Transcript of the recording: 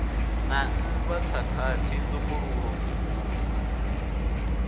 na nndwa khakhathi nzumbululo mvukululo